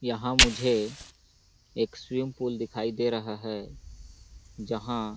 यहाँ मुझे एक स्विमिंग पूल दिखाई दे रहा है जहाँ --.